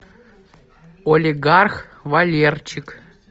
олигарх валерчик